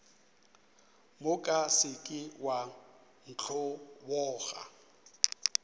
moka se ke wa ntlhoboga